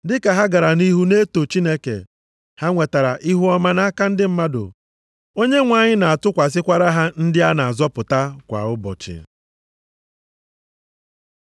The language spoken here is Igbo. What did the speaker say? Dịka ha gara nʼihu na-eto Chineke, ha nwetara ihuọma nʼaka ndị mmadụ. Onyenwe anyị na-atụkwasịkwara ha ndị a na-azọpụta kwa ụbọchị.